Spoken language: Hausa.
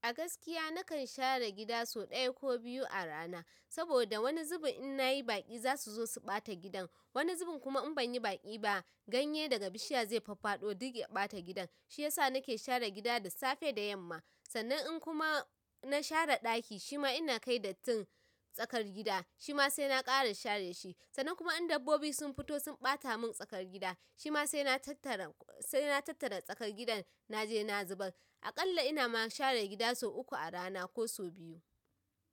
A gaskiya nakan share gida sau ɗaya ko biyu a rana. Saboda wani zubin in nayi baƙi zasu zo su ɓata gidan. Wani zubin kuma in banyi baki ba ganye daga bishiya zai fafado duk ya bata gidan shiyasa nake share gida da safe da yamma. Sannan in kuma na share ɗaki shima inna kai dattin tsakar gida shima sai na ƙara share shi. Sannan kuma in dabbobi sun fito sun ɓata mun tsakar gida, shima sai na tattara, sai na tattara tsakar gidan naje na zubar. Aƙalla ina ma share gida sau uku a rana ko sau biyu.